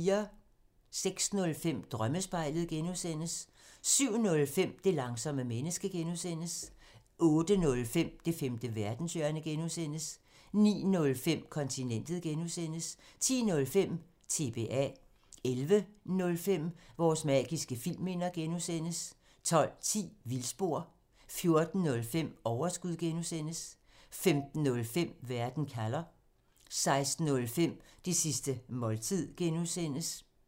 06:05: Drømmespejlet (G) 07:05: Det langsomme menneske (G) 08:05: Det femte verdenshjørne (G) 09:05: Kontinentet (G) 10:05: TBA 11:05: Vores magiske filmminder (G) 12:10: Vildspor 14:05: Overskud (G) 15:05: Verden kalder 16:05: Det sidste måltid (G)